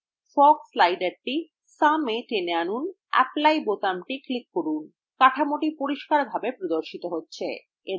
fog slider someএ টেনে আনুন এবং apply বোতামটি click করুন কাঠামোটি পরিষ্কারভাবে প্রদর্শিত হয়